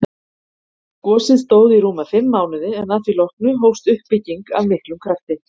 Gosið stóð í rúma fimm mánuði en að því loknu hófst uppbygging af miklum krafti.